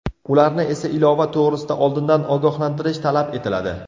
Ularni esa ilova to‘g‘risida oldindan ogohlantirish talab etiladi.